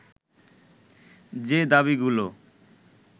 যে দাবীগুলো